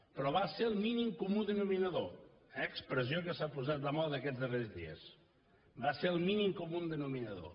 però va ser el mínim comú denominador expressió que s’ha posat de moda aquests darrers dies va ser el mínim comú denominador